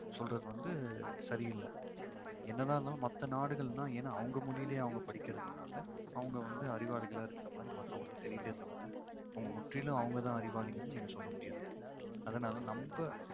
சொல்றது வந்து சரியில்லை. என்னதான் இருந்தாலும் மத்த நாடுகள்னா ஏன்னா அவங்க மொழியிலேயே அவங்க படிக்கிறதுனால அவங்க வந்து அறிவாளிகளா இருக்கிற மாதிரி மத்தவங்களுக்கு தெரியுதே தவிர அவங்க முற்றிலும் அவங்கதான் அறிவாளிகன்னு நீங்க சொல்ல முடியாது. அதனால நம்ம